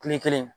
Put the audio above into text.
Kile kelen